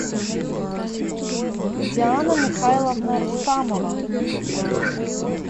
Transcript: диана михайловна рустамова